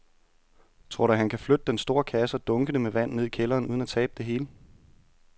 Tror du, at han kan flytte den store kasse og dunkene med vand ned i kælderen uden at tabe det hele?